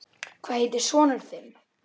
Hvað heitir sonur þinn?